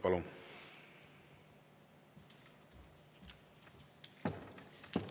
Palun!